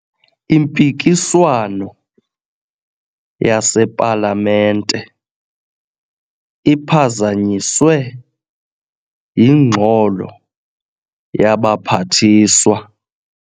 Impikiswano yasepalamente iphazanyiswe yingxolo yabaphathiswa.